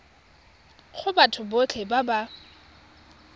go batho botlhe ba ba